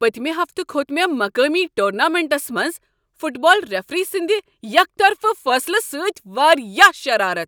پٔتمہ ہفتہٕ کھوٚت مےٚ مقٲمی ٹورنامنٹس منٛز فٹ بال ریفری سٕنٛدِ یک طرفہٕ فٲصلہٕ سۭتۍ واریاہ شرارتھ۔